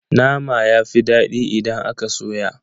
Nama yafi dadi idan aka soya.